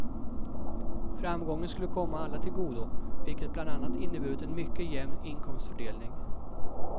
Framgången skulle komma alla till godo, vilket bland annat inneburit en mycket jämn inkomstfördelning.